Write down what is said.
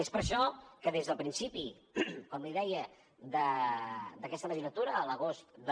és per això que des del principi com li deia d’aquesta legislatura a l’agost del